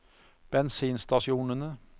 bensinstasjonene